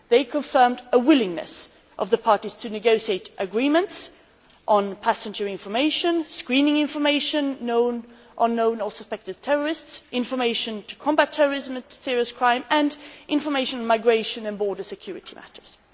They confirmed a willingness of the parties to negotiate agreements on passenger information, screening information on known or suspected terrorists, information to combat terrorism and serious crime, and information, migration and border security matters.